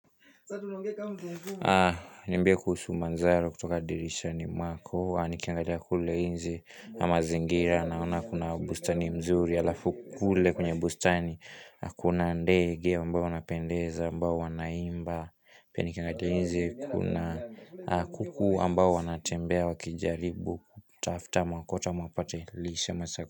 Mbiyo kuhusu manzaro kutoka dirishani mwako Nikiangalia kule inzi kwa mazingira naona kuna bustani mzuri Alafu kule kwenye bustani kuna ndege ambao wanapendeza ambao wanaimba Pia nikiangatia nje kuna kuku ambao wanatembea wakijaribu kutafuta makota mapate lishema sako.